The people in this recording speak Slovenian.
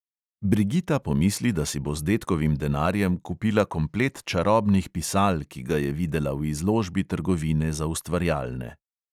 Brigita pomisli, da si bo z dedkovim denarjem kupila komplet čarobnih pisal, ki ga je videla v izložbi trgovine za ustvarjalne.